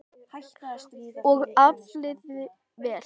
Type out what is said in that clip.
Og aflaði vel.